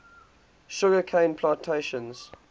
sugar cane plantations